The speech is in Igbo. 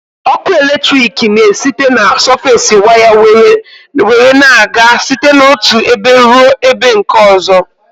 Ọkụ eletrik na esite na sọfes waya nwere na-aga site n'otụ ebe rụọ ebe nke ọzọ